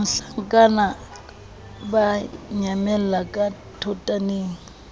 mohlankana ba nyamella ka thotaneng